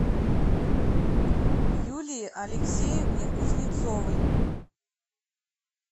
юлии алексеевне кузнецовой